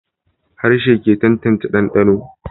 Harshe ke tantance dandano